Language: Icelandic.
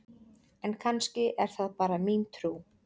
En kannski er það bara mín trú!?